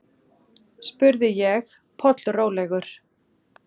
spurði ég, pollrólegur.